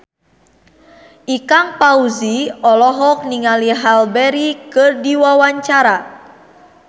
Ikang Fawzi olohok ningali Halle Berry keur diwawancara